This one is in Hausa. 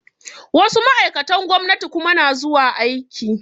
Wasu ma'aikatan gwamnati kuma na zuwa aiki